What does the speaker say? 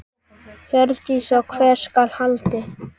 Hjördís: Og hvert skal haldið?